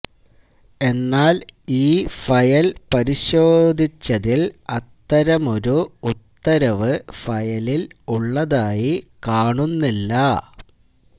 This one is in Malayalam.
എന്നാൽ ഈ ഫയൽ പരിശോധിച്ചതിൽ അത്തരമൊരു ഉത്തരവു് ഫയലിൽ ഉള്ളതായി കാണുന്നില്ല